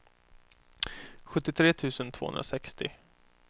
sjuttiotre tusen tvåhundrasextio